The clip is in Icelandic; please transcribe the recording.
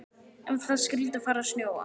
Ef það skyldi fara að snjóa.